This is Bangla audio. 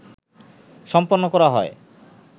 সম্পন্ন করা হয়